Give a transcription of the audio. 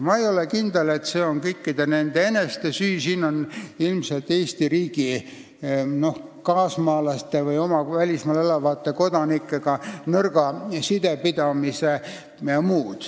Ma ei ole kindel, et see on nende kõikide eneste süü, ilmselt on siin tegu Eesti riigi nõrga sidepidamisega oma kaasmaalaste või oma välismaal elavate kodanikega.